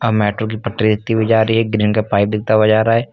Metro की पटरी दिखती हुई जा रही है ग्रीन का पाइप दिखता हुआ जा रहा है।